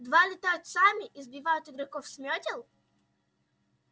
два летают сами и сбивают игроков с мётел